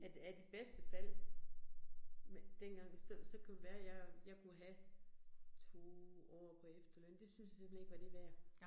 At at i bedste fald, dengang, så så kunne det være, jeg jeg kunne have 2 år på efterøn, det syntes jeg simpelthen ikke var det værd